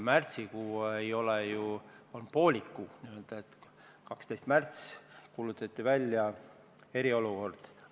Märts oli ju poolik kuu, 12. märtsil kuulutati välja eriolukord.